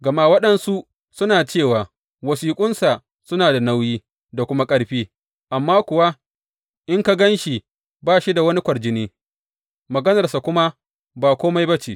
Gama waɗansu suna cewa, Wasiƙunsa suna da nauyi da kuma ƙarfi, amma kuwa in ka gan shi, ba shi da wani kwarjini, maganarsa kuma ba kome ba ce.